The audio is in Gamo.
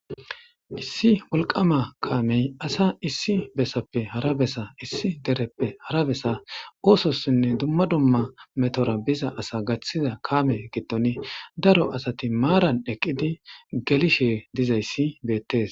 Issi wolqama kaamey asa issi besappe hara besa issi dereppe hara besa oososinne dumma dumma metora biza asa gaththiza kaame giddon daro asati maaran eqqidi gelishe dizayssi beettes.